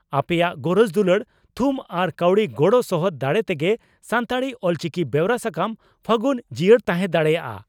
ᱟᱯᱮᱭᱟᱜ ᱜᱚᱨᱚᱡᱽ ᱫᱩᱞᱟᱹᱲ, ᱛᱷᱩᱢ ᱟᱨ ᱠᱟᱹᱣᱰᱤ ᱜᱚᱲᱚ ᱥᱚᱦᱚᱫ ᱫᱟᱲᱮ ᱛᱮᱜᱮ ᱥᱟᱱᱛᱟᱲᱤ (ᱚᱞᱪᱤᱠᱤ) ᱵᱮᱣᱨᱟ ᱥᱟᱠᱟᱢ 'ᱯᱷᱟᱹᱜᱩᱱ' ᱡᱤᱭᱟᱹᱲ ᱛᱟᱦᱮᱸ ᱫᱟᱲᱮᱭᱟᱜᱼᱟ ᱾